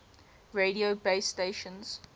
radio base stations